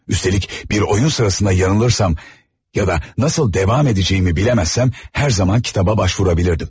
Üstəlik bir oyun sırasında yanılırsam ya da nasıl davam edəcəyimi biləməzsəm, hər zaman kitaba başvurabilirdim.